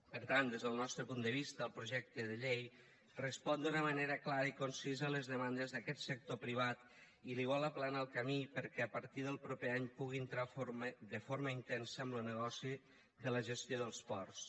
per tant des del nostre punt de vista el projecte de llei respon d’una manera clara i concisa a les demandes d’aquest sector privat i li vol aplanar el camí perquè a partir del proper any pugui entrar de forma intensa en lo negoci de la gestió dels ports